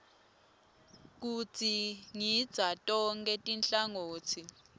kudzingidza tonkhe tinhlangotsi